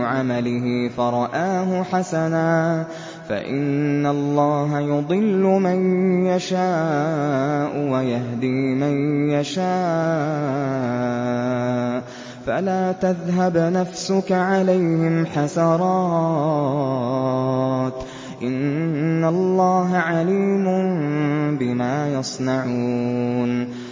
عَمَلِهِ فَرَآهُ حَسَنًا ۖ فَإِنَّ اللَّهَ يُضِلُّ مَن يَشَاءُ وَيَهْدِي مَن يَشَاءُ ۖ فَلَا تَذْهَبْ نَفْسُكَ عَلَيْهِمْ حَسَرَاتٍ ۚ إِنَّ اللَّهَ عَلِيمٌ بِمَا يَصْنَعُونَ